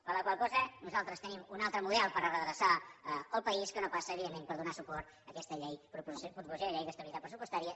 per la qual cosa nosaltres tenim un altre model per a redreçar el país que no passa evidentment per donar suport a aquesta proposició de llei d’estabilitat pressupostària